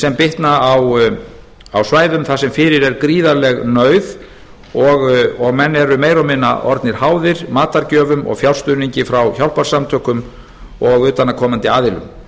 sem bitna á svæðum þar sem fyrir er gríðarleg nauð og menn eru meira og minna orðnir háðir matargjöfum og fjárstuðningi frá hjálparsamtökum og utan að komandi aðilum